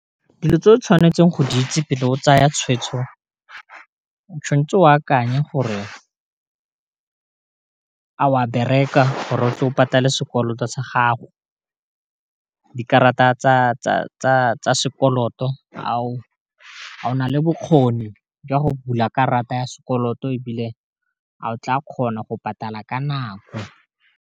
Dilo tse o tshwanetseng go di itse pele o tsaya tshweetso o tshwanetse o akanye gore a wa bereka gore o tle o patale sekoloto sa gago di karata tsa sekoloto a o nale bokgoni jwa go bula karata ya sekoloto e bile a o tla kgona go patala ka nako.